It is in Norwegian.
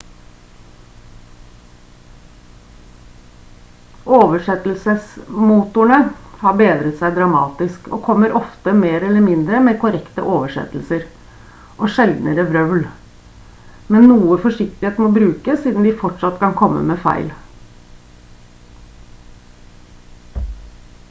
oversettelsesmotorene har bedret seg dramatisk og kommer ofte mer eller mindre med korrekte oversettelser og sjeldnere vrøvl men noe forsiktighet må brukes siden de fortsatt kan komme med feil